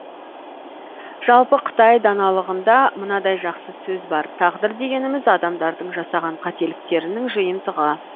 жалпы қытай даналығында мынадай жақсы сөз бар тағдыр дегеніміз адамдардың жасаған қателіктерінің жиынтығы